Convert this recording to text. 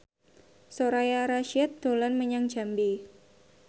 Soraya Rasyid dolan menyang Jambi